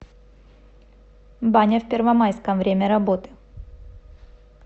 баня в первомайском время работы